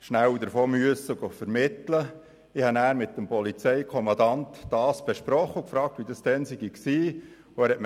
Ich besprach den Fall in der Folge mit dem Polizeikommandanten und fragte ihn nach den näheren Umständen.